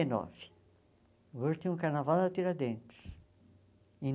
e nove o último carnaval na Tiradentes. Em